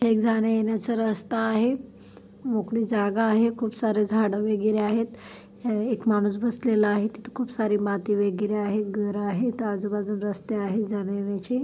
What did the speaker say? एक जाणेयेण्याचा रस्ता आहे मोकळी जागा आहे खूप सारे झाड वगैरे आहेत. हे एक माणूस बसलेला आहे तिथ खूप सारी माती वगैरे आहे घर आहेत आजूबाजूला रस्ते आहे जाणेयेण्याचे --